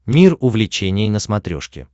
мир увлечений на смотрешке